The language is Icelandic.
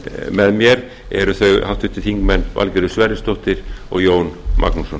með mér eru þau háttvirtir þingmenn valgerður sverrisdóttir og jón magnússon